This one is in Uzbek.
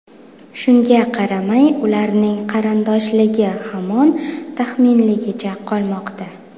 Shunga qaramay, ularning qarindoshligi hamon taxminligicha qolmoqda.